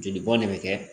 Joli bɔn ne be kɛ